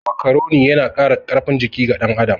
Makaroni yana Kara karfin jiki ga ɗan adam